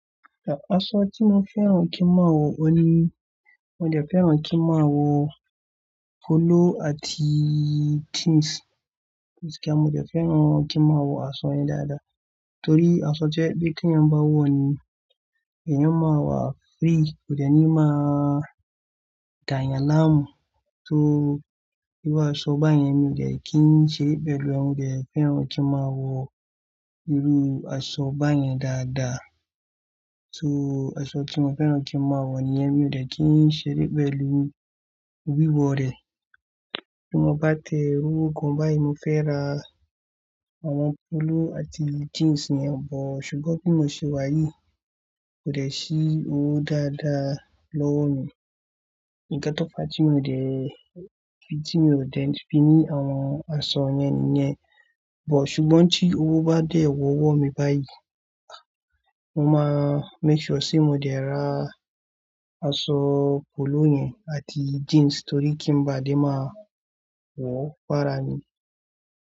Aṣọ tí mo fẹ́ràn kí n máa wọ̀, óun ní mo dẹ̀ fẹ́ràn kí n máa wọ polo àti jeans. Kíni mo dẹ̀ fẹ́ràn kí n máa wọ̀ aṣọ yẹn dáadáa torí aṣọ jẹ́ bí kí ń bá wọ̀ ni, ẹ̀yin máa wà free, kò dẹ̀ ní máa gàyàn láàmú. So, bíru áṣọ báyẹn mi dẹ̀ kí n ṣe pẹ̀lú òun, mo dẹ̀ fẹ́ràn kí n máa wọ̀ irú aṣọ báyẹn dáadáa. So, aṣọ tí mo fẹ́ràn kí n máa wọ̀ níyen mi dẹ̀ kí n ṣeré pẹ̀lú wíwọ rẹ̀. Bí mo bá tẹ owó gan báyìí mo fẹ́ ra àwọn polo àti jeans yẹn bọ̀ ṣùgbọ́n bí mo ṣe wà yìí kò dẹ̀ sí owó dáadáa lọ́wọ́ mi. Ìgbẹ́ tọ́pà tí mo dẹ̀, tí mo dẹ̀ fi ní àwọn aṣọ yẹn níyẹn. Bọ̀ ṣùgbọ́n tí owó bá dé ọwọ́ mi báyìí, mo máa make sure ṣe mo dẹ̀ ra aṣọ polo yẹn àti jeans torí kí n bá dé máa wọ fàrá mi.